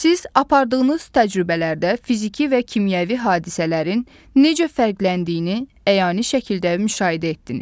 Siz apardığınız təcrübələrdə fiziki və kimyəvi hadisələrin necə fərqləndiyini əyani şəkildə müşahidə etdiniz.